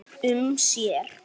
um sér.